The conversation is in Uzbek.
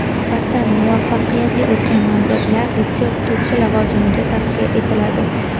Suhbatdan muvaffaqiyatli o‘tgan nomzodlar litsey o‘qituvchisi lavozimiga tavsiya etiladi.